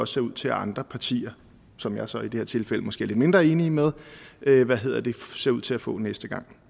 ser ud til at andre partier som jeg så i det her tilfælde måske er lidt mindre enig med ser ud til at få næste gang